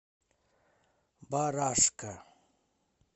барашка